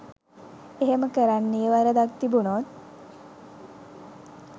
එහෙම කරන්නෙ වරදක් තිබුනොත්